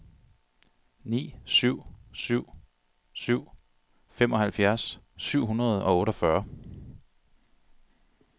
ni syv syv syv femoghalvfjerds syv hundrede og otteogfyrre